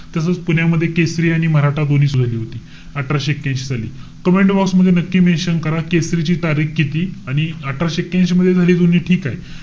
तसंच पुण्यामध्ये, केसरी आणि मराठा दोन्ही सुरु झाली होती. अठराशे ऐक्यांशी साली. Commentbox मध्ये नक्की mention करा. केसरीची तारीख किती आणि अठराशे ऐक्यांशी मध्ये झाली दोन्ही. ठीके.